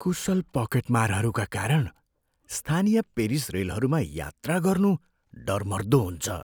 कुशल पकेटमारहरूका कारण स्थानीय पेरिस रेलहरूमा यात्रा गर्नु डरमर्दो हुन्छ।